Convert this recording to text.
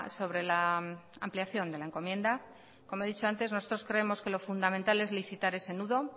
sobre la ampliación de la encomienda como he dicho antes nosotros creemos que lo fundamental es licitar ese nudo